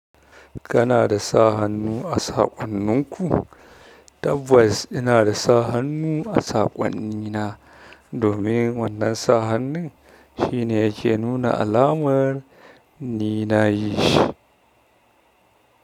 Kana da sa hannu a saƙonninku? Tabbas ina da sa hannu a saƙonnina. Domin wannan sa hannun shine yake nuna alamar ni na yishi.